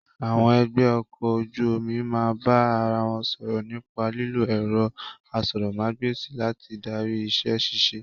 Àwọn ẹgbẹ́ ọkọ̀ ojú omi máa ń bá ara wọn sọ̀rọ̀ nípa lílo ẹ̀rọ asọ̀rọ̀mágb'èsì láti darí iṣẹ́ ṣíṣe